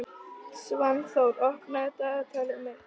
Svanþór, opnaðu dagatalið mitt.